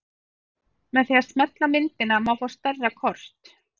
Með því að smella á myndina má fá stærra kort.